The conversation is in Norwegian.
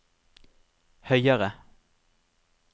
høyere